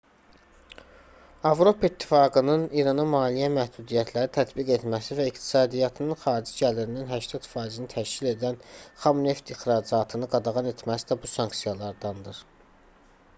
avropa i̇ttifaqının i̇rana maliyyə məhdudiyyətləri tətbiq etməsi və iqtisadiyyatının xarici gəlirinin 80%-ni təşkil edən xam neft ixracatını qadağan etməsi də bu sanksiyalardandır